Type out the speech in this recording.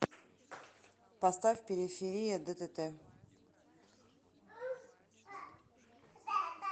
поставь периферия ддт